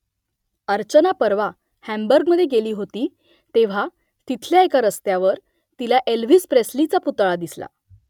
अर्चना परवा हांबुर्गमध्ये गेली होती तेव्हा तिथल्या एका रस्त्यावर तिला एल्व्हिस प्रेस्लीचा पुतळा दिसला